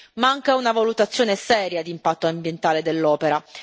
Manca una valutazione seria di impatto ambientale dell'opera.